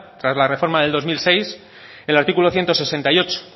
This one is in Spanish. tras la reforma del dos mil seis el artículo ciento sesenta y ocho